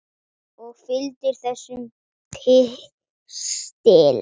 Og fylgir þessum pistli.